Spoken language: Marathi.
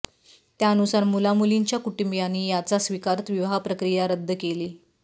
त्यानुसार मुला मुलींच्या कुटूंबियांनी यांचा स्वीकारत विवाह प्रक्रिया रद्द केली